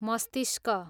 मस्तिष्क